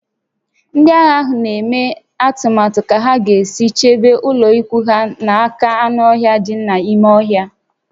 Ndị agha ahụ na-eme atụmatụ ka ha ga-esi chebe ụlọikwuu ha n'aka anụ ọhịa dị n'ime ọhịa